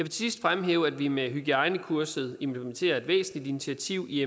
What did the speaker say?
sidst fremhæve at vi med hygiejnekurset implementerer et væsentligt initiativ i